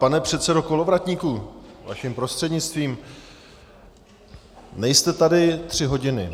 Pane předsedo Kolovratníku - vaším prostřednictvím - nejste tady tři hodiny.